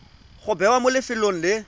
go bewa mo lefelong le